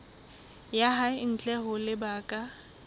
ya hae ntle ho lebaka